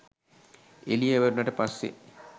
එළිය වැටුණට පස්‌සේ